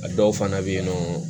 A dɔw fana bɛ yen nɔ